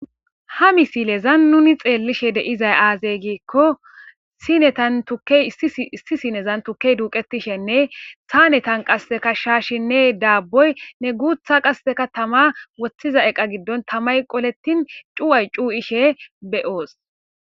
ha misilezan nuni xeellishe deizay aazey giikko sinetan tukey issi sinezan tukey duuqetishenne saa netan qasse kashshashinne daabboy ne guutha qasseka tama woththiza eqa giddon tamay qolettin cu7ay cuu ishe be7oos